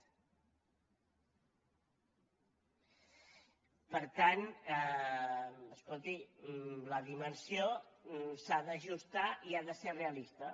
per tant escolti la dimensió s’ha d’ajustar i ha de ser realista